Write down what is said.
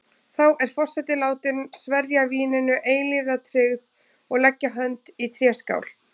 Þá er forseti látin sverja víninu eilífa tryggð og leggja hönd í tréskál.